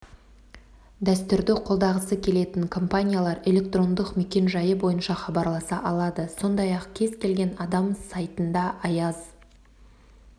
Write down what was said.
дәстүрді қолдағысы келетін компаниялар электрондық мекенжайы бойынша хабарласа алады сондай-ақ кез келген адам сайтында аяз